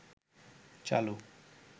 চালু